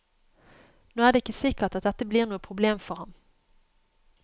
Nå er det ikke sikkert at dette blir noe problem for ham.